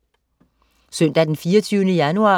Søndag den 24. januar